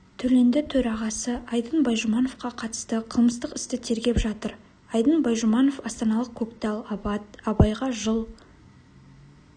төленді төрағасы айдын байжұмановқа қатысты қылмыстық істі тергеп жатыр айдын байжұманов астаналық көктал абат абайға жыл